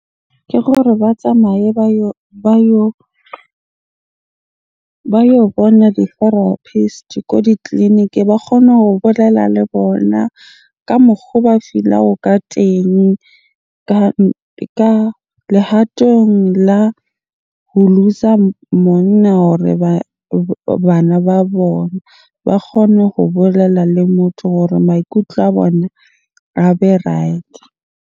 Ke gore ba tsamaye ba yo bona di-therapist ko ditleliniking. Ba kgone ho bolela le bona ka mokgo ba feel-a ho ka teng ka lehatong la ho looser monna hore bana ba bona. Ba kgone ho bolela le motho hore maikutlo a bone a be right-e.